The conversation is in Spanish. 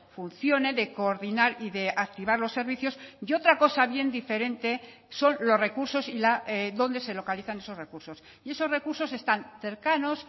funcione de coordinar y de activar los servicios y otra cosa bien diferente son los recursos y dónde se localizan esos recursos y esos recursos están cercanos